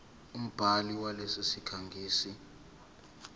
umbhali walesi sikhangisi